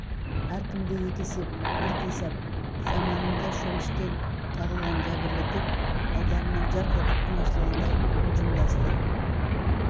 әркімде екі есеп бір қисап заманында шөміштен қағылған жәбірлі топ алдарынан жарқ етіп күн ашылғандай құнжыңдасты